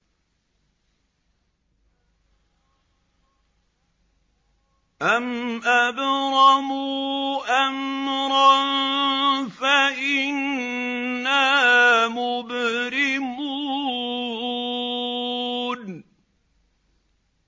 أَمْ أَبْرَمُوا أَمْرًا فَإِنَّا مُبْرِمُونَ